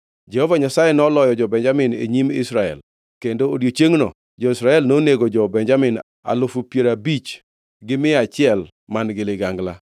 Jehova Nyasaye noloyo jo-Benjamin e nyim Israel kendo odiechiengno jo-Israel nonego jo-Benjamin alufu piero gabich gi mia achiel man-gi ligangla.